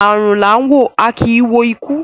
Arun la a wo, a ki i wo iku